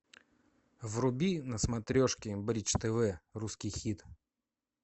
вруби на смотрешке бридж тв русский хит